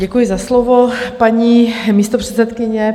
Děkuji za slovo, paní místopředsedkyně.